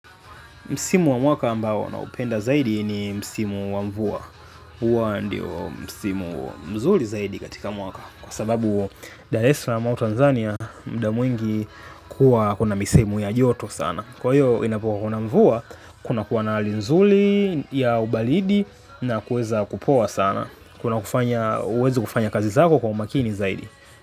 Msimu wa mwaka ambao na upenda zaidi ni msimu wa mvua. Uwa ndio msimu mzuli zaidi katika mwaka. Kwa sababu Dar eslam wa Tanzania mda mw ingi kuwa kuna misehemu ya joto sana. Kwa hiyo inapo kuna mvua, kuna kuwa na halinzuli ya ubalidi na kuweza kupoa sana. Kuna kufanya uwezi kufanya kazi zako kwa umakini zaidi.